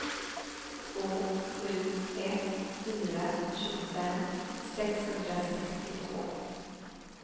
två sju ett fyra tjugofem sexhundrasextiotvå